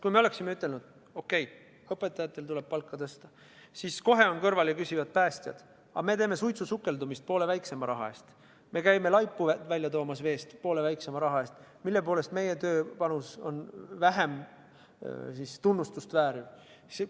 Kui me oleksime ütelnud, et okei, õpetajatel tuleb palka tõsta, siis oleksid kohe olnud kõrval päästjad ja küsinud, et nad teevad suitsusukeldumist poole väiksema raha eest, käivad laipu veest välja toomas poole väiksema raha eest – mille poolest nende töine panus on vähem tunnustust vääriv?